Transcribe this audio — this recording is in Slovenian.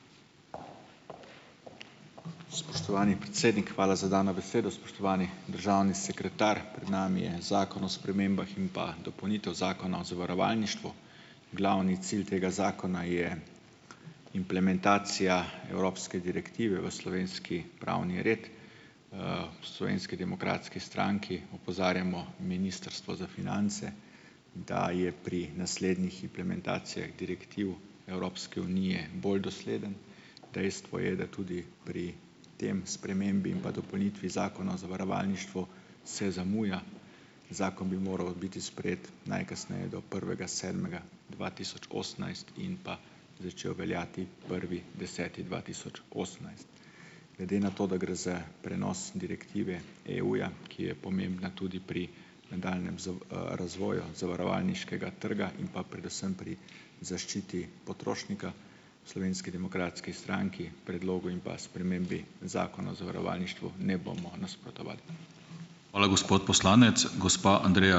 Spoštovani predsednik, hvala za dano besedo. Spoštovani državni sekretar! Pred nami je zakon o spremembah in pa dopolnitvah zakona o zavarovalništvu. Glavni cilj tega zakona je implementacija evropske direktive v slovenski pravni red. V Slovenski demokratski stranki opozarjamo ministrstvo za finance, da je pri naslednjih implementacijah direktiv Evropske unije bolj dosledno. Dejstvo je, da tudi pri tej spremembi in pa dopolnitvi zakona o zavarovalništvu se zamuja, zakon bi moral biti sprejet najkasneje do prvega sedmega dva tisoč osemnajst in pa začel veljati prvi deseti dva tisoč osemnajst. Glede na to, da gre za prenos direktive EU-ja, ki je pomembna pri nadaljnjem razvoju zavarovalniškega trga in pa predvsem pri zaščiti potrošnika, v Slovenski demokratski stranki predlogu in pa spremembi zakona o zavarovalništvu ne bomo nasprotovali.